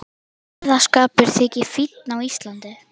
Að sóðaskapur þyki fínn á Íslandi.